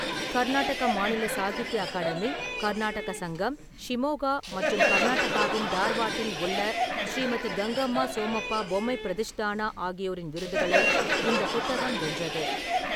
கர்நாடக மாநில சாகித்ய அகாடமி, கர்நாடக சங்கம், ஷிமோகா மற்றும் கர்நாடகாவின் தார்வாட்டில் உள்ள ஸ்ரீமதி கங்கம்மா சோமப்பா பொம்மை பிரதிஷ்தானா ஆகியோரின் விருதுகளை இந்த புத்தகம் வென்றது.